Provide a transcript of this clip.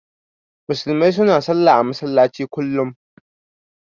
Musulmai su na sallah a masallaci kullum